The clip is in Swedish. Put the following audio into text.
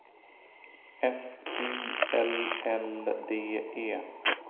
F Y L L D E